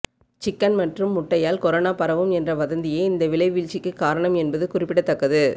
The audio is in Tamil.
சிக்கன் மற்றும் முட்டையால் கொரோனா பரவும் என்ற வதந்தியே இந்த விலை வீழ்ச்சிக்கு காரணம் என்பது குறிப்பிடத்தக்கது